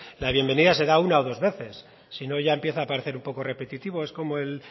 la bienvenido se da una o dos veces sino ya empieza a parecer un poco repetitivo es como es el